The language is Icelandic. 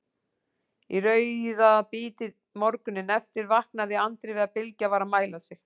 Í rauðabítið morguninn eftir vaknaði Andri við að Bylgja var að mæla sig.